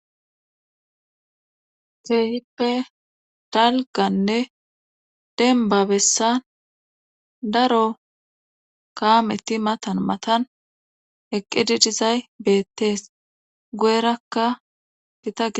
teehippe dalganne denbabessan daro kaametti matan matan eqqididizay beettees go7erakka hitage